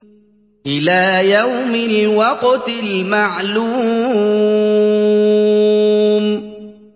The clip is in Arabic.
إِلَىٰ يَوْمِ الْوَقْتِ الْمَعْلُومِ